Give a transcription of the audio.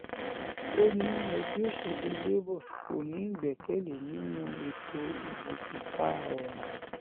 ó ní ẹgbẹ́ òsèlú cs] labour kò ní ìgbẹ́kẹ̀lé nínú ètò ìbò kíkà ọ̀hún